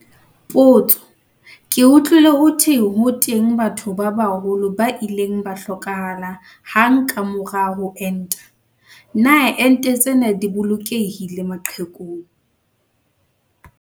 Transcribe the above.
Potso- Ke utlwile ho thwe ho teng batho ba baholo ba ileng ba hlokahala hang ka mora ho enta. Na ente tsena di bolokehile maqhekung?